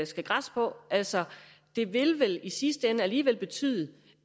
skal græsse på altså det vil vel i sidste ende alligevel betyde